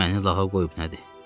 Məni lağa qoyub nədi?